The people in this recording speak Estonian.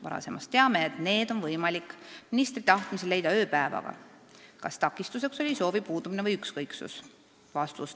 Varasemast teame, et need on võimalik ministri tahtmisel leida ööpäevaga, kas takistuseks oli soovi puudumine või ükskõiksus?